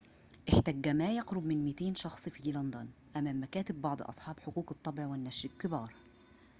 احتج ما يقرب من 200 شخص في لندن أمام مكاتب بعض أصحاب حقوق الطبع والنشر الكبار